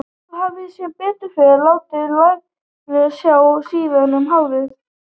Þótt þú hafir sem betur fer látið laglega á sjá síðan um árið.